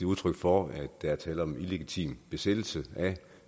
udtryk for at der er tale om en illegitim besættelse af